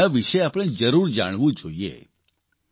અને તેના વિશે આપણે જરૂર જાણવું જોઇએ